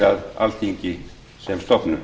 að alþingi sem stofnun